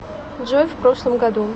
джой в прошлом году